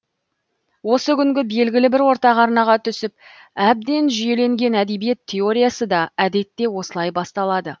осы күнгі белгілі бір ортақ арнаға түсіп әбден жүйеленген әдебиет теориясы да әдетте осылай басталады